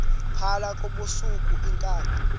phala ngobusuku iinkabi